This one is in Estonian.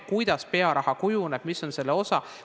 Kuidas pearaha kujuneb, mis on selle osad?